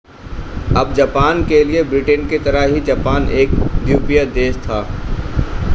अब जापान के लिए ब्रिटेन की तरह ही जापान एक द्वीपीय देश था